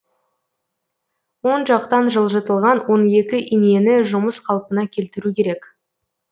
оң жақтан жылжытылған он екі инені жұмыс қалпына келтіру керек